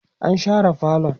an share falon